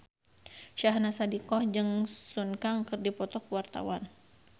Syahnaz Sadiqah jeung Sun Kang keur dipoto ku wartawan